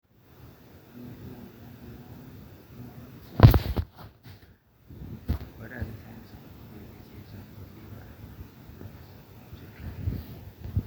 kanyio irbulabul le moyian emonyua too nkera